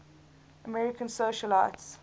american socialites